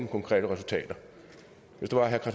konkrete resultater hvis det var herre